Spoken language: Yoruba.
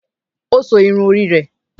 Ó so irun orí rẹ̀